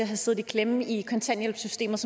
have siddet i klemme i kontanthjælpssystemet